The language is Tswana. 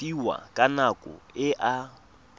fiwang ka nako e a